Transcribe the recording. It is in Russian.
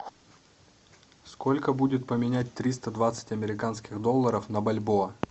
сколько будет поменять триста двадцать американских долларов на бальбоа